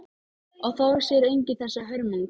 Og þá sér enginn þessa hörmung.